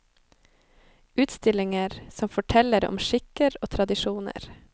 Utstillinger som forteller om skikker og tradisjoner.